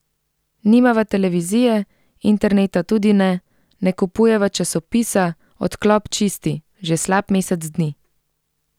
Nimava televizije, interneta tudi ne, ne kupujeva časopisa, odklop čisti, že slab mesec dni.